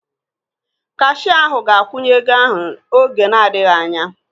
Kashia ahu ga-akwụnye ego ahu oge na adịghị anya